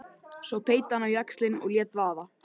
Svo beit hann á jaxlinn og lét vaða.